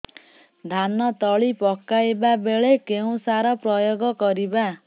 ଧାନ ତଳି ପକାଇବା ବେଳେ କେଉଁ ସାର ପ୍ରୟୋଗ କରିବା